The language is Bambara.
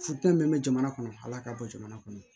Futeni min be jamana kɔnɔ ala ka bɔ jamana kɔnɔ